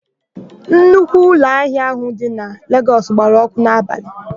Nnukwu ụlọahịa áhụ̀ dị na Legọs gbara ọ́kụ́ n'abalị.